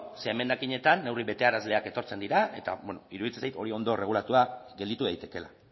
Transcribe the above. zeren emendakinetan neurri betearazleak etortzen dira eta iruditzen zait hori ondo erregulatua gelditu daitekeela